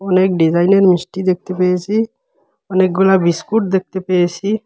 অনেক ডিজাইনের মিষ্টি দেখতে পেয়েছি অনেকগুলা বিস্কুট দেখতে পেয়েসি ।